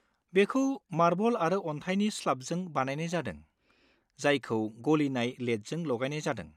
बेखौ मार्बल आरो अन्थाइनि स्लाबजों बानायनाय जादों, जायखौ गलिनाय लेडजों लागायनाय जादों।